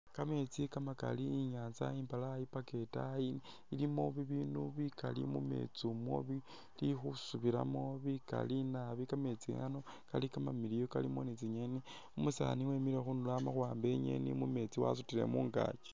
Kameetsi kamakaali inyanza imbalayi paka itaayi ilimo bibinu bikaali mumeetsi mwo bili khusubilamo bikaali naabi kameetsi Kano kamamiliyu kalimo ni tsi'ngeni, umusani wemile khundulo amakhuwamba i'ngeni mumeetsi wasutile mungaakyi